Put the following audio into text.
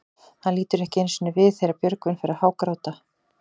Hann lítur ekki einu sinni við þegar Björgvin fer að hágráta.